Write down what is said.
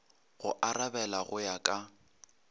go arabela go ya ka